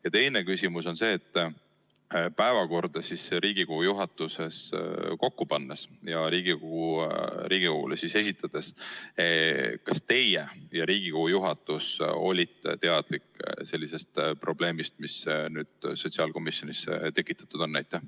Ja teine küsimus on see: kui te Riigikogu juhatuses päevakorda kokku panite, kas teie ja ülejäänud juhatus olite teadlik sellest probleemist, mis nüüd sotsiaalkomisjonis tekitatud on?